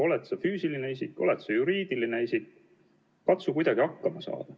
Oled sa füüsiline isik, oled sa juriidiline isik, katsu kuidagi hakkama saada.